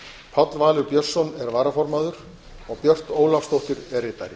páll valur björnsson er varaformaður og björt ólafsdóttir er ritari